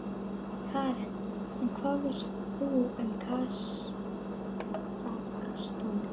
Karen: En hvað veistu um Kasakstan?